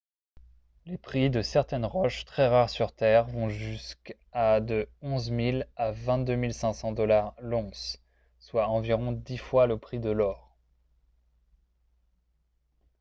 les prix de certaines roches très rares sur terre vont jusqu’à de 11 000 à 22 500 $ l’once soit environ dix fois le prix de l’or